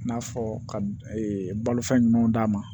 I n'a fɔ ka balofɛn ɲumanw d'a ma